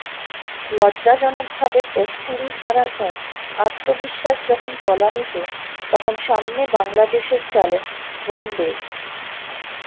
লজ্জাজনকভাবে test series হারার পর আত্মবিশ্বাস যখন তলানিতে তখন সামনে বাংলাদেশের চ্যালেঞ্জ ওয়ান্ডে স